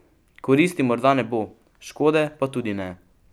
Koristi morda ne bo, škode pa tudi ne.